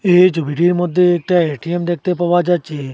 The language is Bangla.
এই যে ভিড়ের মধ্যে একটা এ_টি_এম দেখতে পাওয়া যাচ্ছে।